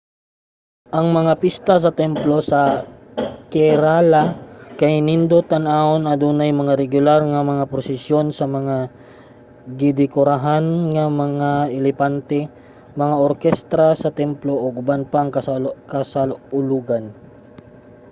ang mga pista sa templo sa kerala kay nindot tan-awon adunay mga regular nga prosesyon sa mga gi-dekorahan nga mga elepante mga orkestra sa templo ug uban pang kasaulogan